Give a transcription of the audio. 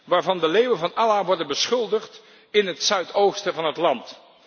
waarvan de leeuwen van Allah worden beschuldigd in het zuidoosten van het land.